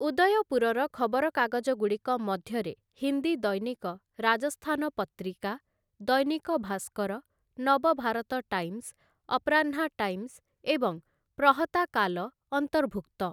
ଉଦୟପୁରର ଖବରକାଗଜଗୁଡ଼ିକ ମଧ୍ୟରେ ହିନ୍ଦୀ ଦୈନିକ ରାଜସ୍ଥାନ ପତ୍ରିକା, ଦୈନିକ ଭାସ୍କର, ନବଭାରତ ଟାଇମ୍ସ, ଅପ୍ରନ୍ହା ଟାଇମ୍ସ ଏବଂ ପ୍ରହତାକାଲ ଅନ୍ତର୍ଭୁକ୍ତ ।